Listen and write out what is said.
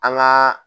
An gaa